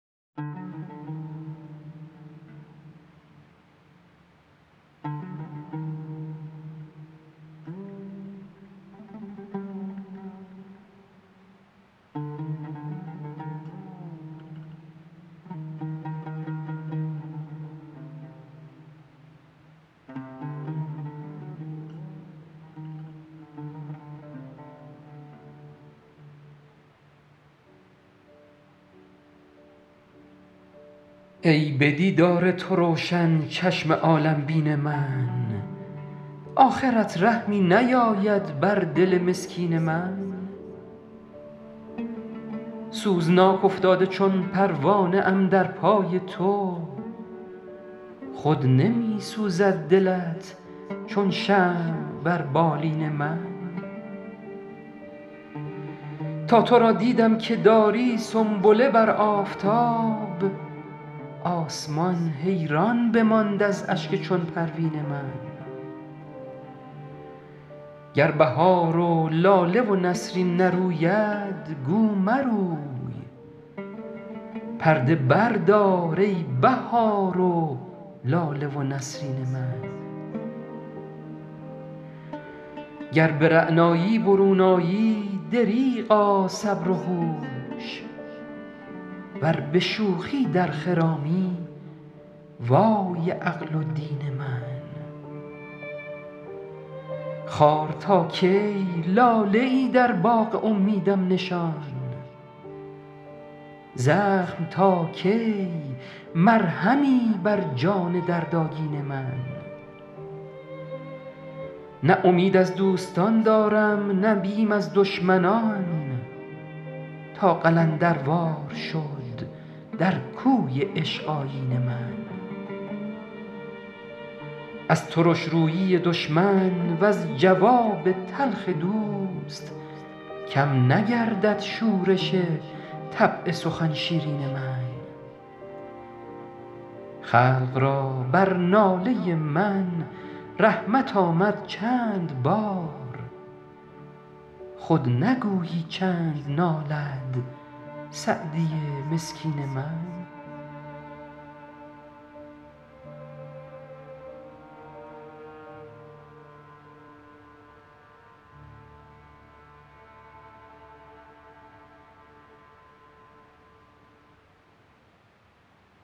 ای به دیدار تو روشن چشم عالم بین من آخرت رحمی نیاید بر دل مسکین من سوزناک افتاده چون پروانه ام در پای تو خود نمی سوزد دلت چون شمع بر بالین من تا تو را دیدم که داری سنبله بر آفتاب آسمان حیران بماند از اشک چون پروین من گر بهار و لاله و نسرین نروید گو مروی پرده بردار ای بهار و لاله و نسرین من گر به رعنایی برون آیی دریغا صبر و هوش ور به شوخی در خرامی وای عقل و دین من خار تا کی لاله ای در باغ امیدم نشان زخم تا کی مرهمی بر جان دردآگین من نه امید از دوستان دارم نه بیم از دشمنان تا قلندروار شد در کوی عشق آیین من از ترش رویی دشمن وز جواب تلخ دوست کم نگردد شورش طبع سخن شیرین من خلق را بر ناله من رحمت آمد چند بار خود نگویی چند نالد سعدی مسکین من